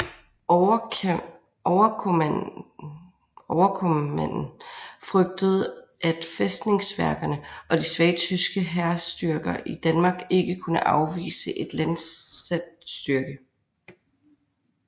Overkommanden frygtede at fæstningsværkerne og de svage tyske hærstyrker i Danmark ikke kunne afvise en landsat styrke